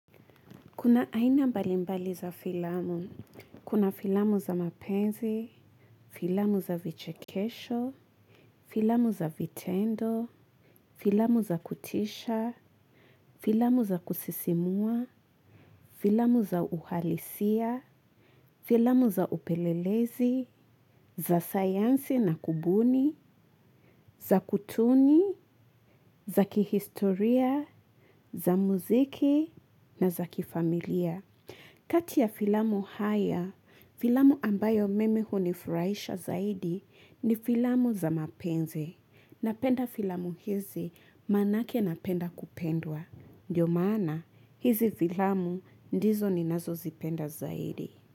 Kuna aina mbalimbali za filamu, kuna filamu za mapenzi, filamu za vichikesho, filamu za vitendo, filamu za kutisha, filamu za kusisimua, filamu za uhalisia, filamu za upelelezi, za sayansi na kubuni, za kutuni, za kihistoria, za muziki na za kifamilia. Kati ya filamu haya, filamu ambayo mimi unifurahisha zaidi ni filamu za mapenzi. Napenda filamu hizi manake napenda kupendwa. Ndio maana hizi filamu ndizo ninazozipenda zaidi.